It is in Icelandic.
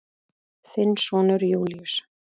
Þinn sonur Júlíus.